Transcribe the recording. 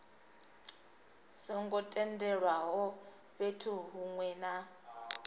songo tendelwaho fhethu hunwe na